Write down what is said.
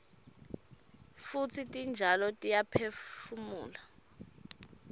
futsi titjalo tiyaphefumula